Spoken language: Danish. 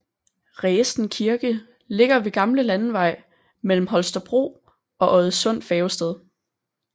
Resen Kirke ligger ved gamle landevej mellem Holstebro og Oddesund Færgested